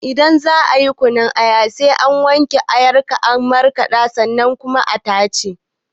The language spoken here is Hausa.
Idan zakayi kunun aya sai ka wanke ayar ka markaɗa ta sannan ka tace